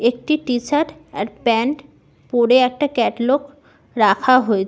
একটি T shirt আর pant পরে একটা কাটলগ রাখা হয়ে--